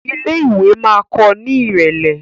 ilé ìwé ma kò ní irẹlẹ.